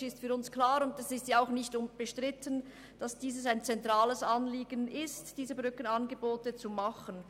Aus bildungspolitischer Sicht ist für uns klar, dass es ein zentrales Anliegen ist, diese Brückenangebote zu führen.